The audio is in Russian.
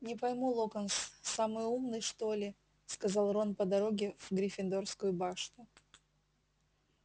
не пойму локонс самый умный что ли сказал рон по дороге в гриффиндорскую башню